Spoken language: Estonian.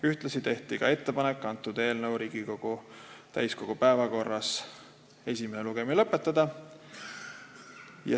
Ühtlasi tehti ettepanek Riigikogu täiskogu istungil eelnõu esimene lugemine lõpetada.